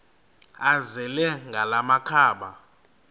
azele ngala makhaba